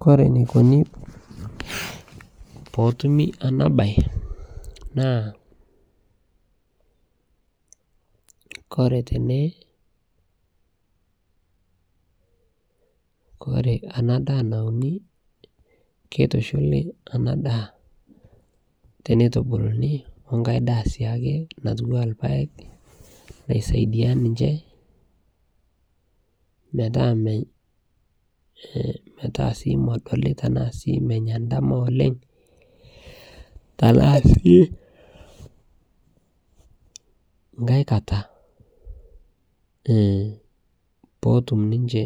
kore neikoni pootumi ana bai naa kore tene kore ana daa naunii keitushulii ana daa peitubuluni onkai daah siake natuwaa lpaeg naisaidia ninshe metaa medolii tanaa sii menya ldama oleng tanaa sii aikata pootum ninshe